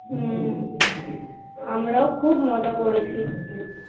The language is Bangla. হম আমরা ও খুব মজা করেছি